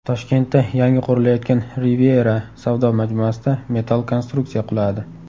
Toshkentda yangi qurilayotgan Riviera savdo majmuasida metall konstruksiya quladi.